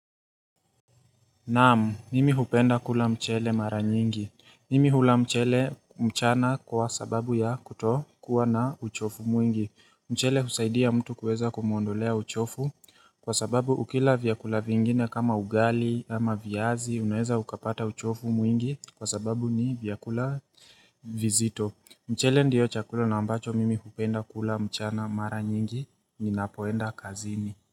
Naam, nimi hupenda kula mchele mara nyingi. Mimi hula mchele mchana kwa sababu ya kuto kuwa na uchofu mwingi. Mchele husaidia mtu kuweza kumuondolea uchofu kwa sababu ukila vyakula vingine kama ugali ama vyazi, unaweza ukapata uchofu mwingi kwa sababu ni vyakula vizito. Mchele ndio chakula na ambacho mimi hupenda kula mchana mara nyingi, nina poenda kazini.